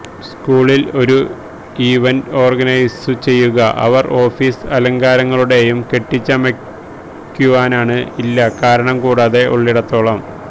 സ്കൂളിൽ ഒരു ഇവന്റ് ഓർഗനൈസുചെയ്യുക അവർ ഓഫീസ് അലങ്കാരങ്ങളുടെയും കെട്ടിച്ചമയ്ക്കുവാനാണ് ഇല്ല കാരണം കൂടാതെ ഉള്ളിടത്തോളം